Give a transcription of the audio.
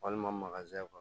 Walima kɔnɔ